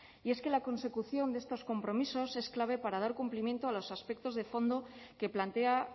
y es que la consecución de estos compromisos es clave para dar cumplimiento a los aspectos de fondo que plantea